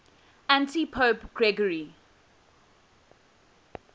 antipope gregory